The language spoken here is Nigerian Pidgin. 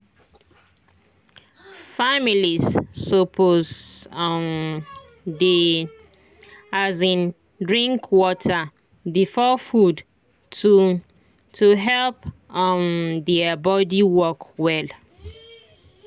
families suppose um dey um drink water before food to to help um their body work well.